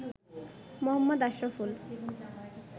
Mohammad Ashraful